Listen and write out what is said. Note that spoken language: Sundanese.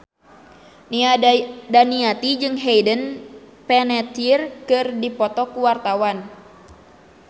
Nia Daniati jeung Hayden Panettiere keur dipoto ku wartawan